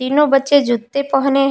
तीनों बच्चे जूते पहने है।